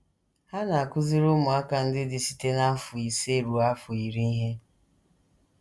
Ha na - akụziri ụmụaka ndị dị site n’afọ ise ruo afọ iri ihe.